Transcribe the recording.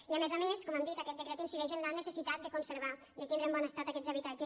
i a més a més com hem dit aquest decret incideix en la necessitat de conservar de tindre en bon estat aquests habitatges